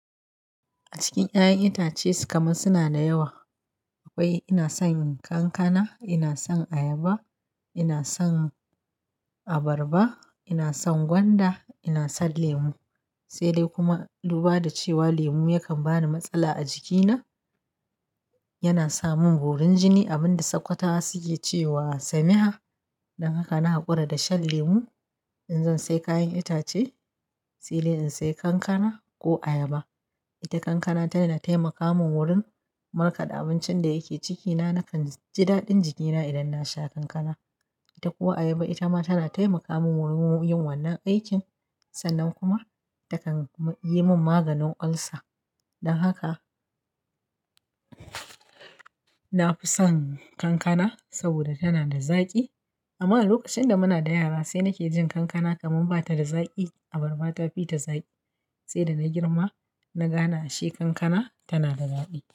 A cikin 'ya'yan itace kaman suna da yawa. Akwai ina son kankana, ina son ayaba, ina son abarba, ina son gwanda, ina son lemu. Sai dai kuma duba da cewa lemu yakan bani matsala a jikina. Yana samin birin jini, abin da sakwatawa suke cewa semiha. Don haka na hakura da shan lemu. In zan sai kayan itace, sai dai in sai kankana ko ayaba. Ita kankana tana taimaka mun wurin markaɗa abincin da yake cikina. Nakan ji daɗin jikina idan na sha kankana. Ita ko ayaba, ita ma tana taimaka mun wurin yin wannan aikin. Sannan kuma ta kan yi mun maganin ulcer. Don haka na fi son kankana saboda tana da zaƙi. Amma lokacin da muna da yara sai nake jin kankana kaman bata da zaƙi. Abarba tafi ta zaƙi. Sai da na girma na gane ashe kankana tana da zaɓi.